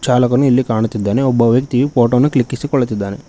ಚಾಲಕನು ಇಲ್ಲಿ ಕಾಣುತ್ತಿದ್ದಾನೆ ಒಬ್ಬ ವ್ಯಕ್ತಿಯು ಫೋಟೋ ಅನ್ನು ಕ್ಲಿಕ್ಕಿಸಿಕೊಳ್ಳುತ್ತಿದ್ದಾನೆ.